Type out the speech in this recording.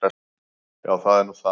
Já, það er nú það.